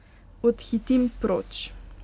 Odhitim proč.